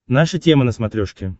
наша тема на смотрешке